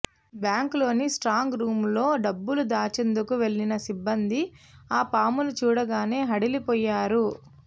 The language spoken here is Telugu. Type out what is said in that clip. బ్యాంక్లోని స్ట్రాంగ్ రూమ్లో డబ్బులు దాచేందుకు వెళ్లిన సిబ్బంది ఆ పామును చూడగానే హడలిపోయారు